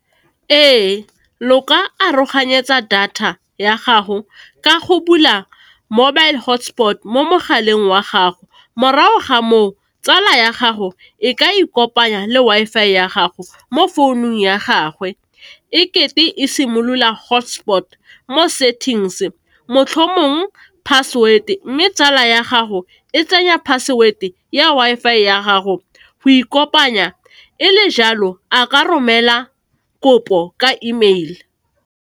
Ee, lo ka aroganyetsa data ya gago ka go bula mobile hotspot mo mogaleng wa gago, morago ga moo, tsala ya gago e ka ikopanya le Wi-Fi ya gago mo founung ya gagwe ekete e simolola hotspot mo settings motlhomong password, mme tsala ya gago e tsenya password ya Wi-Fi ya gago go ikopanya, e le jalo a ka romela kopo ka email.